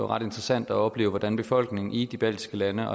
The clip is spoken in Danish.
ret interessant at opleve hvordan befolkningen i de baltiske lande